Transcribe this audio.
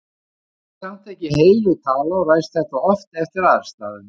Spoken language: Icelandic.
Þetta er samt ekki heilög tala og ræðst þetta oft eftir aðstæðum.